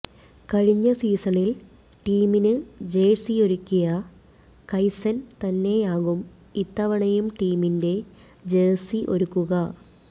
കഴിഞ്ഞ സീസണിൽ ടീമിന് ജേഴ്സിയൊരുക്കിയ കൈസൻ തന്നെയാകും ഇത്തവണയും ടീമിന്റെ ജേഴ്സി ഒരുക്കുക